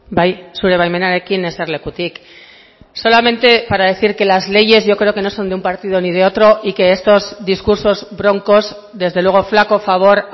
bai zure baimenarekin eserlekutik solamente para decir que las leyes yo creo que no son de un partido ni de otro y que estos discursos broncos desde luego flaco favor